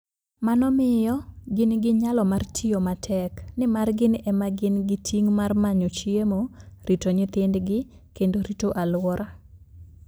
Mano miyo gin gi nyalo mar tiyo matek, nimar gin ema gin gi ting' mar manyo chiemo, rito nyithindgi, kendo rito alwora.